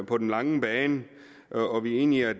på den lange bane og vi er enige i at